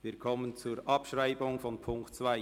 Wir kommen zur Abschreibung von Ziffer 2.